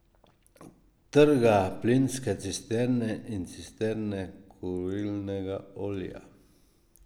Trga plinske cisterne in cisterne kurilnega olja.